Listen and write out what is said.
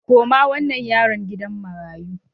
Koma wannan yaron gidan marayu!